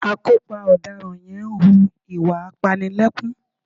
Akópa ọ̀daràn yẹn ń hu ìwà apanilẹ́kún